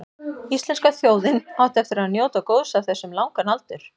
Íslenska þjóðin átti eftir að njóta góðs af þessu um langan aldur.